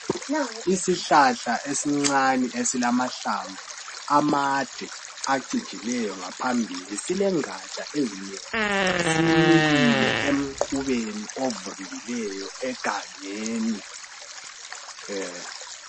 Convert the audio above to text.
Yisihlahla esincane esilamahlanvu amade acigileyo ngaphambili, silengaja ezinengi. Similile emqubeni ovundileyo egangeni.